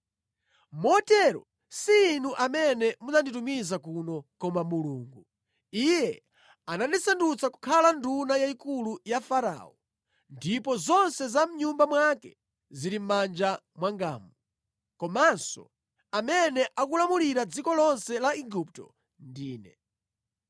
“Motero, si inu amene munanditumiza kuno koma Mulungu. Iye anandisandutsa kukhala nduna yayikulu ya Farao, ndipo zonse za mʼnyumba mwake zili mʼmanja mwangamu. Komanso amene akulamulira dziko lonse la Igupto ndi ine.